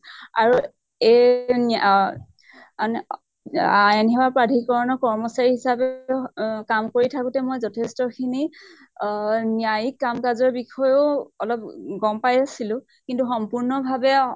আৰু এই ন্য়া অন আ-ইন সেৱা প্ৰাধিকৰণৰ কৰ্মচাৰী হিচাপে অহ কাম কৰি থাকোতে মই যথেষ্ট খিনি আহ ন্য়ায়িক কাম কাজৰ বিষয়ে অলপ অ গম পাই আছিলো, কিন্তু সম্পূৰ্ণ ভাৱে